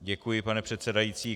Děkuji, pane předsedající.